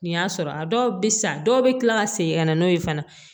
Nin y'a sɔrɔ a dɔw bɛ san dɔw bɛ kila ka segin ka na n'o ye fana